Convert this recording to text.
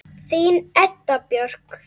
Þín Edda Björk.